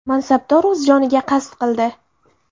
Mansabdor o‘z joniga qasd qildi.